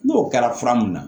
N'o kɛra fura mun na